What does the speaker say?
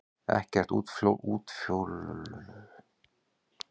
Ekkert útfjólublátt ljós kemur frá venjulegum eldi.